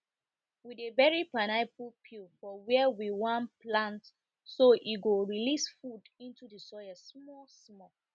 we dey bury pineapple peel for where we wan plant so e go release food into the soil small small